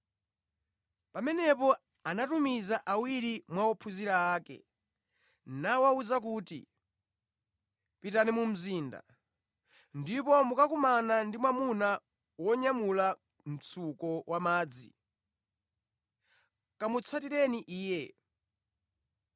Pamenepo anatumiza awiri mwa ophunzira ake, nawawuza kuti, “Pitani mu mzinda, ndipo mukakumana ndi mwamuna wonyamula mtsuko wa madzi. Kamutsatireni iye.